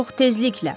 Çox təzliklə.